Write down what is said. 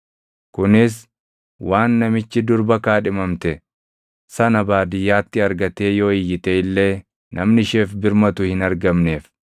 kunis waan namichi durba kaadhimamte sana baadiyyaatti argatee yoo iyyite illee namni isheef birmatu hin argamneef.